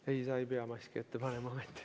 Ei, sa ei pea maski ette panema.